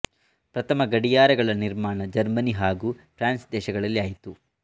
ಪ್ರಥಮ ಗಡಿಯಾರಗಳ ನಿರ್ಮಾಣ ಜರ್ಮನಿ ಹಾಗೂ ಫ್ರಾನ್ಸ್ ದೇಶಗಳಲ್ಲಿ ಆಯಿತು